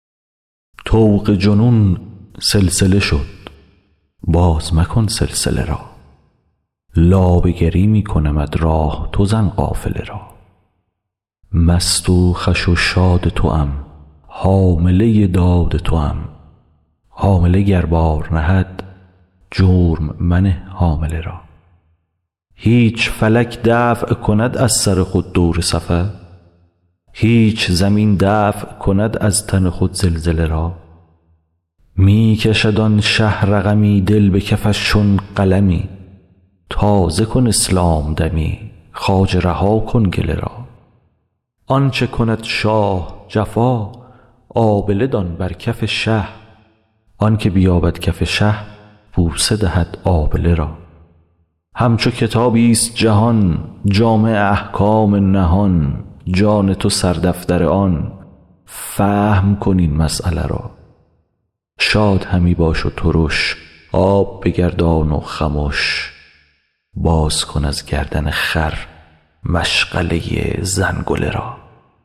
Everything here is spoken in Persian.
طوق جنون سلسله شد باز مکن سلسله را لابه گری می کنمت راه تو زن قافله را مست و خوش و شاد توام حامله داد توام حامله گر بار نهد جرم منه حامله را هیچ فلک دفع کند از سر خود دور سفر هیچ زمین دفع کند از تن خود زلزله را می کشد آن شه رقمی دل به کفش چون قلمی تازه کن اسلام دمی خواجه رها کن گله را آنچ کند شاه جفا آبله دان بر کف شه آنک بیابد کف شه بوسه دهد آبله را همچو کتابی ست جهان جامع احکام نهان جان تو سردفتر آن فهم کن این مسیله را شاد همی باش و ترش آب بگردان و خمش باز کن از گردن خر مشغله زنگله را